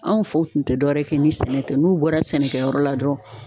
Anw faw kun te dɔwɛrɛ kɛ ni sɛnɛ tɛ n'u bɔra sɛnɛkɛyɔrɔ la dɔrɔn